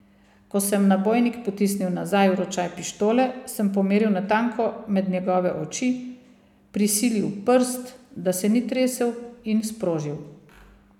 Ko sem nabojnik potisnil nazaj v ročaj pištole, sem pomeril natanko med njegove oči, prisilil prst, da se ni tresel, in sprožil.